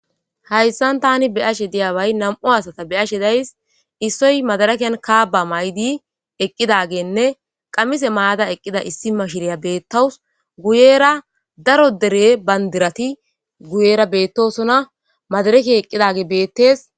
Hayssan tani be ashe diyaway nam7u asata be ashe days issoy madarakeyan kaaba may7di eqqidagenne qammise maada eqqida issi mashiriya beettawus guyera daro dere bandirati guyera beettosona madarake eqqidage beettes.